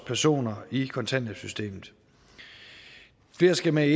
personer i kontanthjælpssystemet flere skal med